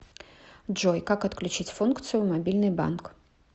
джой как отключить функцию мобильный банк